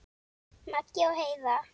Maggi og Heiða.